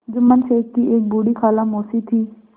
जुम्मन शेख की एक बूढ़ी खाला मौसी थी